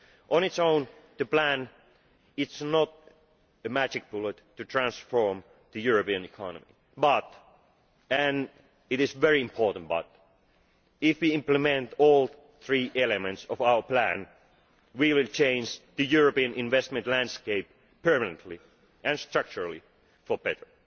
On its own, the plan is not a magic bullet to transform the European economy but and it is a very important but if we implement all three elements of our plan, we will change the European investment landscape permanently and structurally for the better.